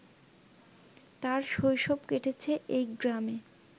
তার শৈশব কেটেছে এই গ্রামে